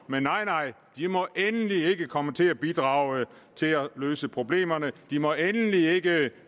men nej nej de må endelig ikke komme til at bidrage til at løse problemerne de må endelig ikke